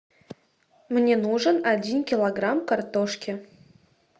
мне нужен один килограмм картошки